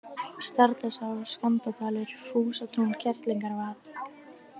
Stardalsá, Skandadalur, Fúsatún, Kerlingavað